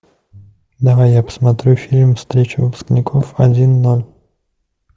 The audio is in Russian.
давай я посмотрю фильм встреча выпускников один ноль